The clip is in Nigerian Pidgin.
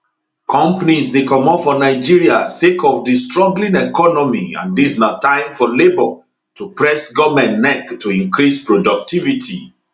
companies dey comot for nigeria sake of di struggling economy and dis na time for labour to press goment neck to increase productivity